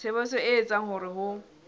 tshebetso e etsang hore ho